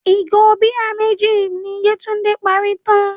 Ìgò bíà méjì ni Yétúndé parí tán.